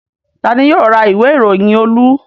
Ta ni yóò ra ìwé-ìròyìn Olú?